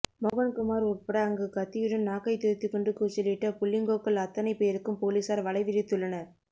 மோகன்குமார் உட்பட அங்கு கத்தியுடன் நாக்கைத் துருத்திக்கொண்டு கூச்சலிட்ட புள்ளீங்கோக்கள் அத்தனைப் பேருக்கும் போலீசார் வலை விரித்துள்ளனர்